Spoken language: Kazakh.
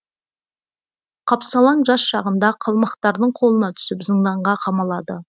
қапсалаң жас шағында қалмақтардың қолына түсіп зынданға қамалады